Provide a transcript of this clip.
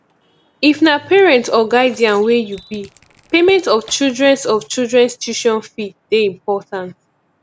if na parent or guidian wey you be payment of childrens of childrens tution fee de important